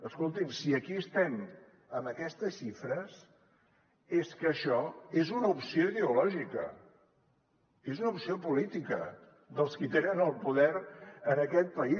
escolti’m si aquí estem amb aquestes xifres és que això és una opció ideològica és una opció política dels qui tenen el poder en aquest país